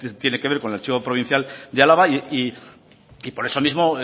tiene que ver con el archivo provincial de álava y por eso mismo